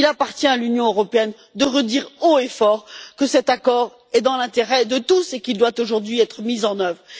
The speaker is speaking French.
Il appartient à l'Union européenne de redire haut et fort que cet accord est dans l'intérêt de tous et qu'il doit aujourd'hui être mis en œuvre.